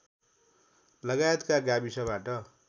लगायतका गाविसबाट